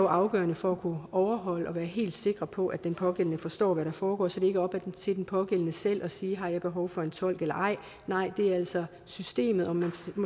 afgørende for at kunne overholde det og være helt sikker på at den pågældende forstår hvad der foregår så det ikke er op til den pågældende selv at sige har jeg behov for en tolk eller ej nej det er altså systemet om jeg